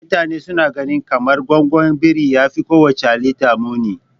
Mutane suna gani kamar gwaggon biri yafi kowacce halitta muni.